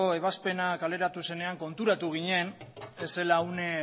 ebazpena kaleratu zenean konturatu ginen ez zela une